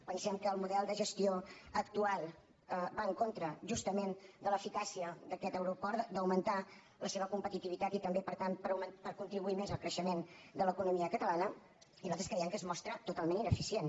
pensem que el model de gestió actual va en contra justament de l’eficàcia d’aquest aeroport d’augmentar la seva competitivitat i també per tant per contribuir més al creixement de l’economia catalana i nosaltres creiem que es mostra totalment ineficient